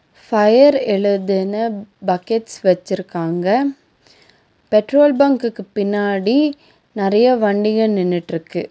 Fire எழுதுன buckets வெச்சிருக்காங்க petrol பங்க்குக்கு பின்னாடி நெறைய வண்டிக நின்னுட்ருக்கு.